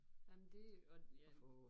Jamen det og ja